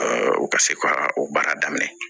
u ka se ka o baara daminɛ